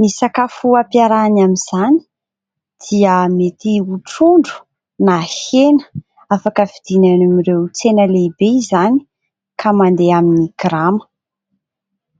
Ny sakafo ampiarahany amin'izany dia mety ho trondro na hena. Afaka vidina eny amin'ireo tsena lehibe izany, ka mandeha amin'ny grama.